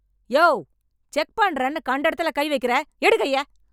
யோவ், check பன்றேன்னு கண்ட எடத்துல கை வைக்குற, எடு கைய.